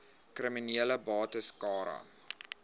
kriminele bates cara